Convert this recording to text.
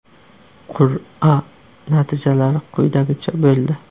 Qur’a natijalari quyidagicha bo‘ldi.